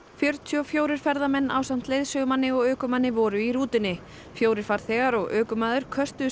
fjörutíu og fjórir ferðamenn ásamt leiðsögumanni og ökumanni voru í rútunni fjórir farþegar og ökumaður